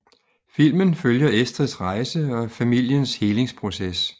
Filmen følger Estrids rejse og familiens helingsproces